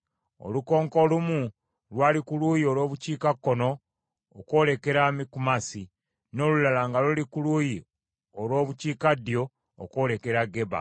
Olukonko olumu lwali ku luuyi olw’obukiikakkono okwolekera Mikumasi, n’olulala nga luli ku luuyi olw’obukiikaddyo okwolekera Geba.